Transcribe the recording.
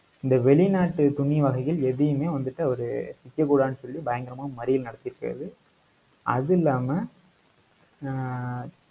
இந்த வெளிநாட்டு துணி வகைகள் எதையுமே வந்துட்டு அவரு விற்கக்கூடாதுன்னு சொல்லி பயங்கரமா மறியல் நடத்தி இருக்காரு. அது இல்லாம ஆஹ்